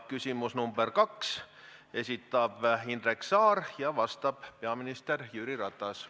Küsimus nr 2, esitab Indrek Saar ja vastab peaminister Jüri Ratas.